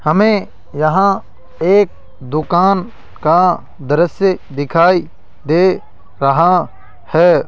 हमें यहां एक दुकान का दृश्य दिखाई दे रहा है।